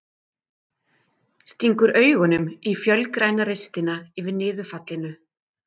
Stingur augunum í fölgræna ristina yfir niðurfallinu.